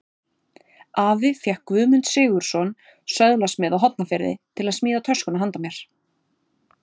Afi fékk Guðmund Sigurðsson, söðlasmið á Hornafirði, til að smíða töskuna handa mér.